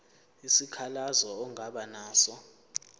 isikhalazo ongaba naso